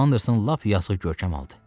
Anderson lap yazıq görkəm aldı.